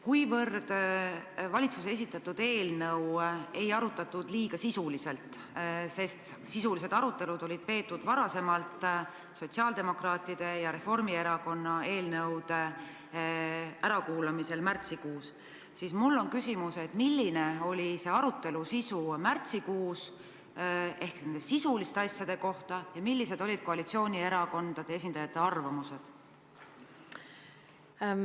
Kuivõrd valitsuse esitatud eelnõu ei arutatud liiga sisuliselt, sest sisulised arutelud olid peetud varem sotsiaaldemokraatide ja Reformierakonna eelnõude ärakuulamisel märtsikuus, siis mul on küsimus: milline oli arutelu sisu märtsikuus nende sisuliste asjade üle ja millised olid koalitsioonierakondade esindajate arvamused?